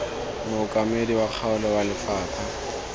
mookamedi wa kgaolo wa lefapha